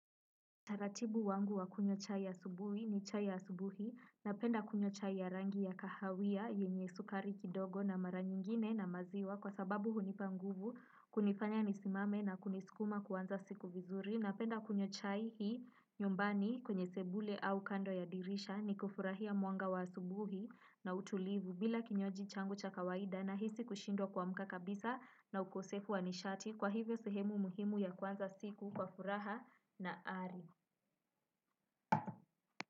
Utaratibu wangu wa kunywa chai asubuhi ni chai ya asubuhi, napenda kunywa chai ya rangi ya kahawia, yenye sukari kidogo na mara nyingine na maziwa kwa sababu hunipa nguvu kunifanya nisimame na kunisikuma kuanza siku vizuri, napenda kunywa chai hii nyumbani kwenye sebule au kando ya dirisha ni kufurahia mwanga wa asubuhi na utulivu, bila kinywaji changu cha kawaida na hisi kushindwa kuamka kabisa na ukosefu wa nishati. Kwa hivyo sehemu muhimu ya kwanza siku kwa furaha na ari.